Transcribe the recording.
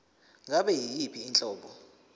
ngabe yiyiphi inhlobo